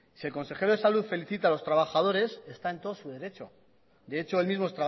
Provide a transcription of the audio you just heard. si el consejero de salud felicita a los trabajadores está en todo su derecho de hecho él mismo